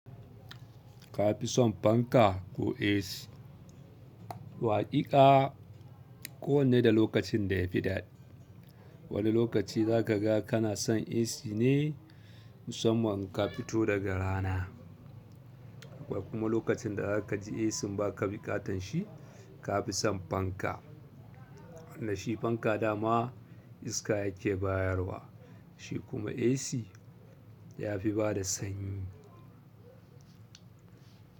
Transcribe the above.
Ka fi son fanka ko AC? Waƙiƙa kowanne da lokacin da yafi daɗi. Wani lokaci za ka ga kana son AC ne musamman ka fito daga rana. Akwai kuma lokacin da za ka ji AC ba ka bi ƙaton shi, ka fi son fanka. Wannan shi fanka dama iska yake bayarwa, shi kuma AC ya fi bada sanyi.